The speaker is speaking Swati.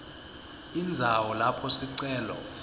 indzawo lapho sicelo